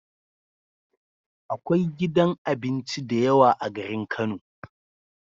Akwai gidan abinci dayawa a garin kano